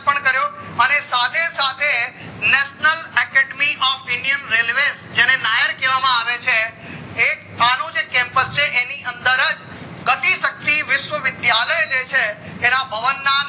કર્યો અને સાથે સાથે national academy of national Indian railways જેને નાયર કેવા આવે છે એક અનુ જે campus છે એની અંદરજ ગતિ સાચી વિશ્વા વિશ્યાલય જે છે એના ભવન ના